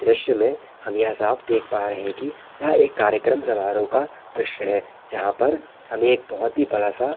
दृश्य में हम यह साफ़ देख पा रहे है कि यह एक कार्यक्रम समारोह का दृश्य है जहां पर हमे एक बहुत ही बड़ा सा --